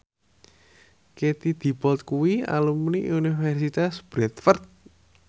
Katie Dippold kuwi alumni Universitas Bradford